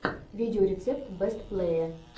видеорецепт бэст плэе